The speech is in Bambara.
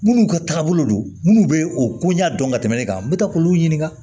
Minnu ka taabolo don munnu bɛ o koɲa dɔn ka tɛmɛ ne kan n bɛ taa k'olu ɲininka